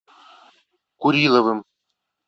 куриловым